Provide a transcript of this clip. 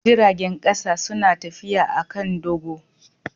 Jiragen kasa suna tafiya a kan dogo.